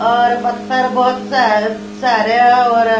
और पत्थर बहुत सारे और--